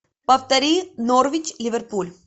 повтори норвич ливерпуль